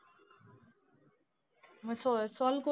मग solve~ solve,